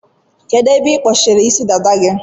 Kedu ebe ikpọchiri Ịsị dada gị?